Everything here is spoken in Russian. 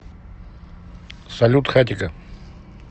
салют хатико